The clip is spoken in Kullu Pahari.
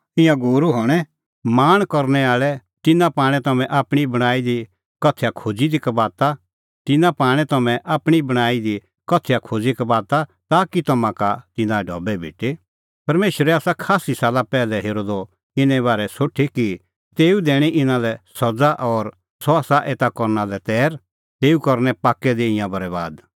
ईंयां गूरू हणैं लाल़च़ी तिन्नां पाणै तम्हैं आपणीं बणांईं दी कथैया खोज़ी कबाता ताकि तम्हां का तिन्नां ढबै भेटे परमेशरै आसा खास्सी साला पैहलै हेरअ द इने बारै सोठी कि तेऊ दैणीं इना लै सज़ा और सह आसा एता करना लै तैर तेऊ करनै पाक्कै दी तिंयां बरैबाद